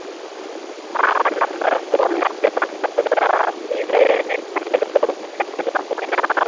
ஆஹ் நம்ம phone ல apply